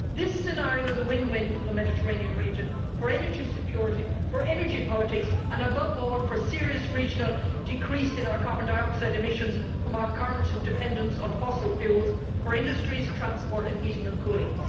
This scenario is a win win for the Mediterranean region, for energy security, for energy politics and, above all, for a serious regional decrease in our carbon dioxide emissions from our current dependence on fossil fuels for industries, transport and heating and cooling.